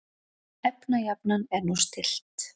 Efnajafnan er nú stillt.